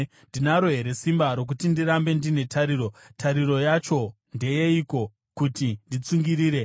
“Ndinaro here simba, rokuti ndirambe ndine tariro? Tariro yacho ndeyeiko kuti nditsungirire?